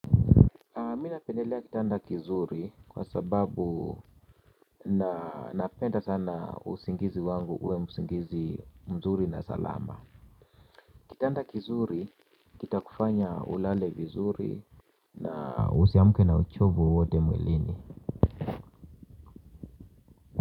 Mimi napendelea kitanda kizuri kwa sababu napenda sana usingizi wangu uwe usingizi mzuri na salama. Kitanda kizuri kitakufanya ulale vizuri. Usiamke na uchovu wowote mwilini.